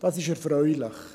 Das ist erfreulich.